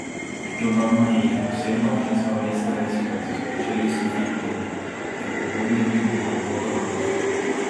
Dodana ji je posebna občinska mesta listina, so sporočili s Fit media, ki je pobudnik in organizator nagrade.